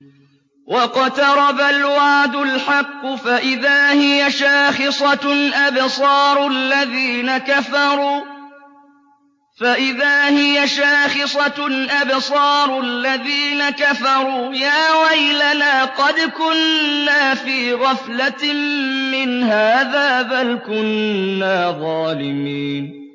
وَاقْتَرَبَ الْوَعْدُ الْحَقُّ فَإِذَا هِيَ شَاخِصَةٌ أَبْصَارُ الَّذِينَ كَفَرُوا يَا وَيْلَنَا قَدْ كُنَّا فِي غَفْلَةٍ مِّنْ هَٰذَا بَلْ كُنَّا ظَالِمِينَ